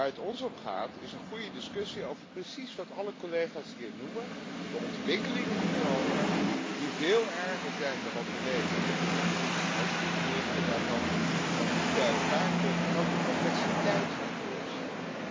Waar het ons om gaat is een goede discussie over precies wat alle collega's hier noemen 'de ontwikkelingen in Europa', die veel erger zijn dan wat we lezen in het economisch semester, de berichten daarvan, wat niet bij elkaar komt en ook de complexiteit van corruptie.